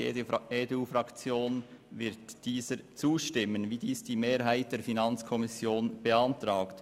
Die EDU-Fraktion wird dieser zustimmen, wie es die Mehrheit der FiKo beantragt.